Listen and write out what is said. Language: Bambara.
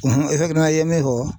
i ye min fɔ.